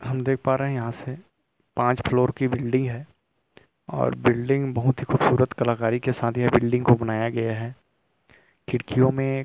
हम देख पा रहे हैं यहां से पांच फ्लोर की बिल्डिंग है और बिल्डिंग बहुत ही खूबसूरत कलाकारी के साथ ये बिल्डिंग को बनाया गया है खिड़कियों में एक --